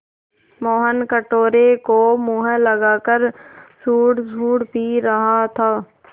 मोहन कटोरे को मुँह लगाकर सुड़सुड़ पी रहा था